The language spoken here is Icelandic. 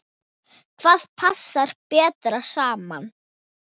Hvað passar best saman?